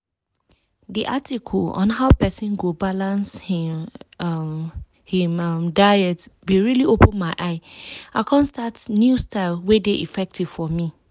di article on how persin go balance hin um hin um diet bin really open my eye. i con start new style wey dey effective for me.